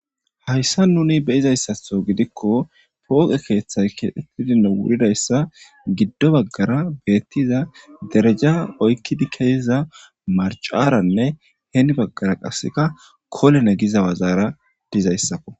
Hayssa nuni beyizayssatho gidikko pooqe keeththay keetidinno wuridayssa giddo baggara beettiza dereja oykkidi keesiza marcaranne heeni baggara qaseka kolene giza wazaara dizayssakko.